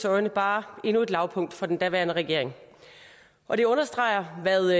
øjne bare endnu et lavpunkt for den daværende regering og det understreger hvad